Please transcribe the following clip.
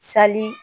Sali